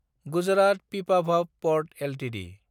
Gujarat Pipavav port Ltd